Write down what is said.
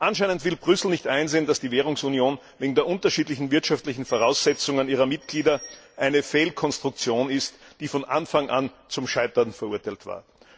Anscheinend will Brüssel nicht einsehen, dass die Währungsunion wegen der unterschiedlichen wirtschaftlichen Voraussetzungen ihrer Mitglieder eine Fehlkonstruktion ist, die von Anfang an zum Scheitern verurteilt war.